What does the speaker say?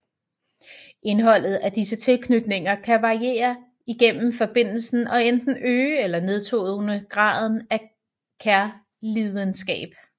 Indholdet af disse tilknytninger kan variere igennem forbindelsen og enten øge eller nedtone graden af kærlidenskab